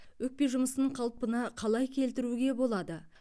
өкпе жұмысын қалпына қалай келтіруге болады